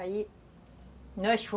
Aí nós fo